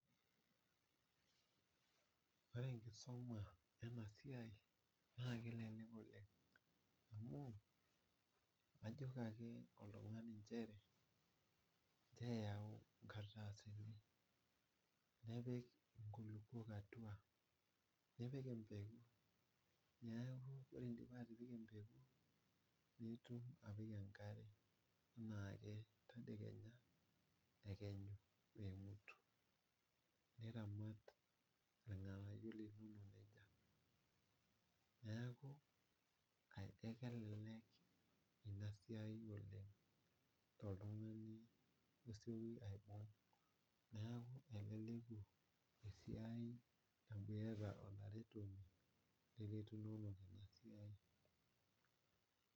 Ore enkisuma enasia na kelek oleng amu ijoki ake oltungani nchere ncho eyau nkardasini napik nkulukuok atua nepik empeku neakubore idipa atipika empeku nipik enkare tedekenya ,emutu niramat rnganayio linonok nejia neaku kelelek inasiaii oleng toltunganu osieki aibung neaku eleleku esiai amu iyata olaretoni .